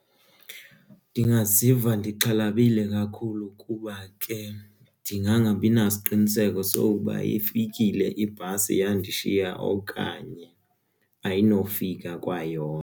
Ndingaziva ndixhalabile kakhulu kuba ke ndingangabi nasiqinisekiso sokuba ifikile ibhasi yandishiya okanye ayinofika kwayona.